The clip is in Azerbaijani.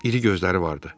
İri gözləri vardı.